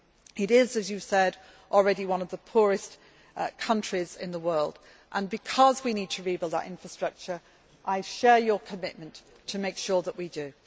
It is, as you said, already one of the poorest countries in the world, and because we need to rebuild that infrastructure, I share your commitment to make sure that we do.